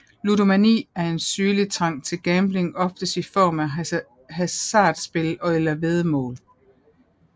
Ludomani er en sygelig trang til gambling oftest i form af hasardspil eller væddemål